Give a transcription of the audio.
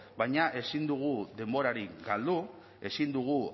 baina ezin dugu denborarik galdu ezin dugu